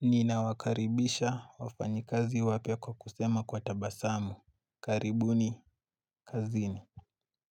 Nina wakaribisha wafanyikazi wapya kwa kusema kwa tabasamu karibu ni kazini